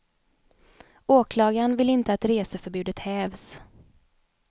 Åklagaren vill inte att reseförbudet hävs.